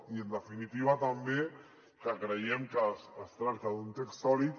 i en definitiva també que creiem que es tracta d’un text sòlid